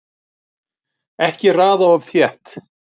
Ekki raða of þétt